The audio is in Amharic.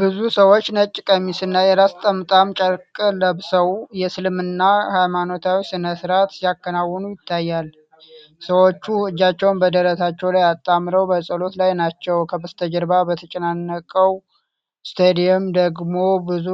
ብዙ ሰዎች ነጭ ቀሚስና የራስ ጠምጣማ ጨርቅ ለብሰው፣ የእስልምና ሃይማኖታዊ ሥነ ሥርዓት ሲያከናውኑ ይታያል። ሰዎች እጃቸውን በደረታቸው ላይ አጣምረው በጸሎት ላይ ናቸው፣ ከበስተጀርባ በተጨናነቀው ስታዲየም ደግሞ ብዙ